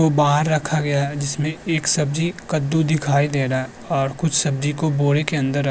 वो बाहर रखा गया है जिसमे एक सब्ज़ी कद्दू दिखाई दे रहा है और कुछ सब्ज़ी को बोरे के अंदर रखा --